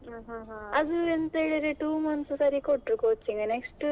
ಹಾ ಹಾ ಹಾ.